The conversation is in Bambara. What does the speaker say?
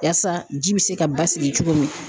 Yaasa ji bɛ se ka basigi cogo min